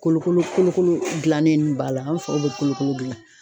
Kolokolo kolokolo gilannenw b'a la ,an be sɔrɔ ka kolokolo gilan.